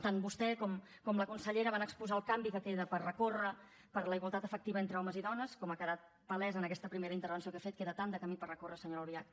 tant vostè com la consellera van exposar el canvi que queda per recórrer per a la igualtat efectiva entre homes i dones com ha quedat palès en aquesta primera intervenció que ha fet queda tant de camí per recórrer senyora albiach